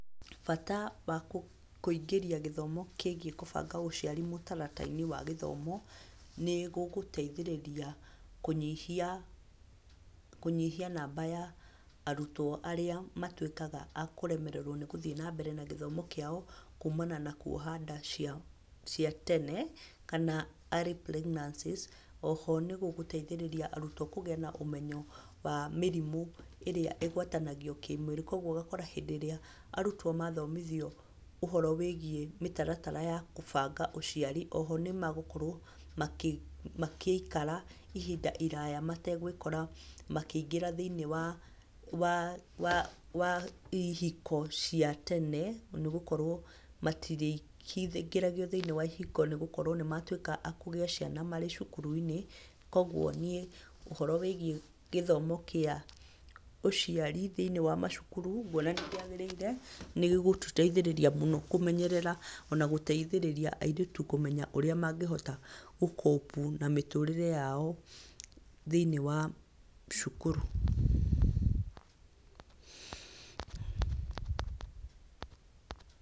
Bata wa kũingĩria gĩthomo kĩgiĩ gũbanga ũciari mũtaratara-inĩ wa gĩthomo nĩ gũgũteithĩrĩria, kũnyihia kũnyihia namba ya arutwo arĩa matuĩkaga a kũremererwo nĩ gũthiĩ na mbere na gĩthomo kĩao kuumana na kũoha nda cia tene, kana early pregnancies. Oho nĩ gũgũteithĩrĩria arutwo kũgĩa na ũmenyo wa mĩrimũ ĩrĩa ĩgwatanagio kĩmwĩrĩ. Koguo ũgakora hĩndĩ ĩrĩa arutwo mathomithio ũhoro wĩgiĩ mĩtaratara ya kũbanga ũciari, oho nĩ magũkorwo makĩikara ihinda iraya mategwĩkora makĩingĩra thĩiniĩ wa ihiko cia tene nĩ gũkorwo matirĩkĩingĩragio thĩiniĩ wa ihiko nĩ gũkorwo nĩ matuĩka a kũgĩa ciana marĩ cukuru-inĩ. Koguo niĩ ũhoro wĩgiĩ gĩthomo kĩa ũciari thĩiniĩ wa macukuru ngũona nĩ kĩagĩrĩire, nĩ gĩgũtũteithĩrĩria mũno kũmenyerera, ona gũteithĩrĩria airetu kũmenya ũrĩa mangĩhota gũ- cope na mĩtũrĩre yao thĩiniĩ wa cukuru.